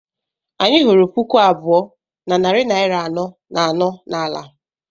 Anyị hụrụ puku abụọ na narị naira anọ na anọ n'ala.